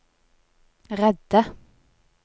redde